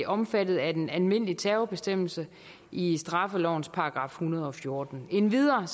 omfattet af den almindelige terrorbestemmelse i straffelovens § en hundrede og fjorten endvidere